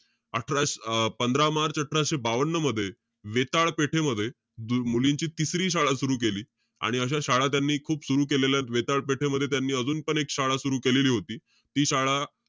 अठरा~ अं पंधरा मार्च अठराशे बावन्न मध्ये, वेताळ पेठेमध्ये, द~ मुलींची तिसरी शाळा सुरु केली. आणि अशा शाळा त्यांनी खूप सुरु केलेल्या. वेताळ पेठेमध्ये त्यांनी अजून पण एक शाळा सुरु केलेली होती. ती शाळा,